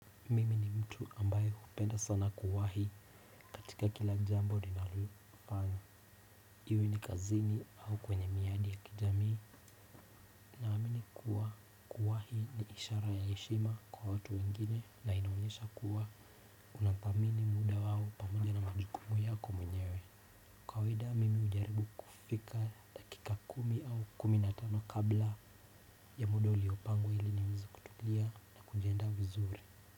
Mimi ni mtu ambayo hupenda sana kuwahi katika kila jambo ninalolifanya iwe ni kazini au kwenye miadi ya kijamii. Naamini kuwa kuwahi ni ishara ya heshima kwa watu wengine na inaonyesha kuwa kuna thamini muda wao pamoja na majukumu yako mwenyewe. Kawaida mimi hujaribu kufika dakika kumi au kumi na tano kabla ya muda uliopangwa ili niwezi kutulia na kujiandaa vizuri.